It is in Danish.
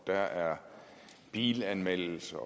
der er bilanmeldelser